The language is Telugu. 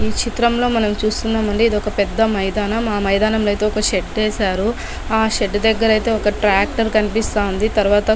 ఈ చిత్రం లో మనం చూస్తున్నాం అండి ఇది ఒక పెద్ద మైదానం మైదానం లో అయితే ఒక షెడ్ వేశారు ఆ షెడ్ దగ్గరా అయితే ఒక ట్రాక్టర్ కనిపిస్తా ఉంది . తరువాత --